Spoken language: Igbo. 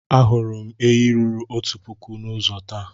Ahụrụ m ehi ruru otu puku n'ụzọ taa.